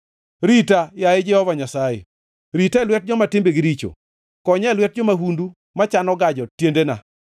Rita, yaye Jehova Nyasaye, rita e lwet joma timbegi richo; konya e lwet jo-mahundu machano gajo tiendena.